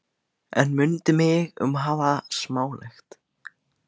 En mundu mig um að hafa það smálegt.